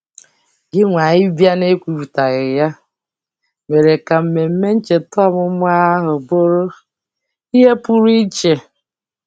Gịnwa ịbịa n'ekwuputaghị ya mere ka mmemme ncheta ọmụmụ ahụ bụrụ ihe pụrụ iche.